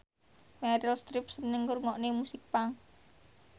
Meryl Streep seneng ngrungokne musik punk